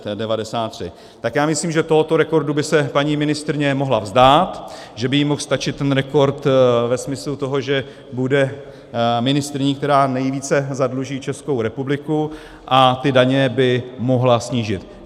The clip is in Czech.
Tak já myslím, že tohoto rekordu by se paní ministryně mohla vzdát, že by jí mohl stačit ten rekord ve smyslu toho, že bude ministryní, která nejvíce zadluží Českou republiku, a ty daně by mohla snížit.